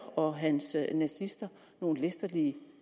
og hans nazister nogle læsterlige